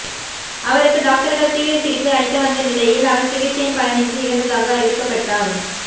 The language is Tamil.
அவருக்கு டாக்டர்கள் தீவிர சிகிச்சை அளித்த வந்த நிலையில் அவர் சிகிச்சையின் பலனின்றி இறந்ததாக அறிவிக்கப்பட்டார்